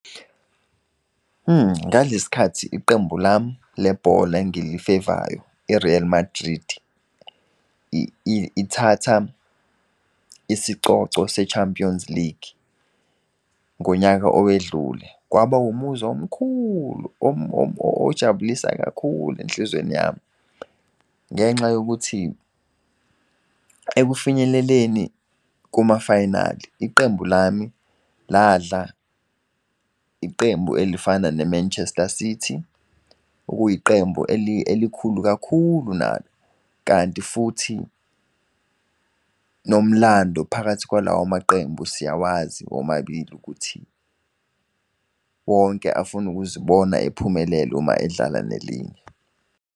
Ngalesi khathi iqembu lami lebhola engilifevayo i-Real Madrid, ithatha isicoco se-Champions League, ngonyaka owedlule, kwaba umuzi omkhulu ojabulisa kakhulu enhlizweni yami. Ngenxa yokuthi ekufinyeleleni kumafayinali, iqembu lami ladla iqembu elifana ne-Manchester City, okuyi qembu elikhulu kakhulu nalo. Kanti futhi nomlando phakathi kwalawo maqembu siyawazi womabili ukuthi wonke afuna ukuzibona ephumelela uma edlala nelinye.